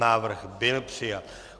Návrh byl přijat.